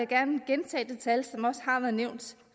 gerne gentage det tal som også har været nævnt